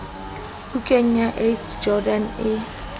bukeng ya ac jordan e